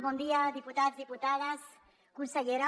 bon dia diputats diputades consellera